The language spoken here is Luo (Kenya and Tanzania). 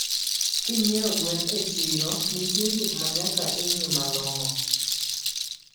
Kinyie gwen e chiro ntie gikmanyaka ingii malongo